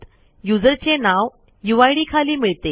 युजरचे नाव यूआयडी खाली मिळते